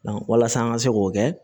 walasa an ka se k'o kɛ